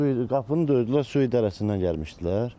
Suyu qapını döydülər, su idarəsindən gəlmişdilər.